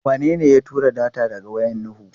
Wanene ya tura data daga wayar Nuhu?